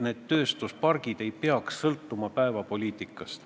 Need tööstuspargid ei peaks sõltuma päevapoliitikast.